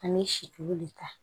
An bɛ situlu de ta